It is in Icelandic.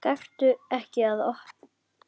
Gakktu ekki að opinu.